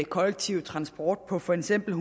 kollektive transport på for eksempel